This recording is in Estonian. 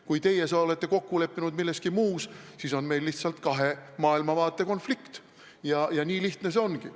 Kui teie olete kokku leppinud milleski muus, siis see on lihtsalt kahe maailmavaate konflikt ja nii lihtne see ongi.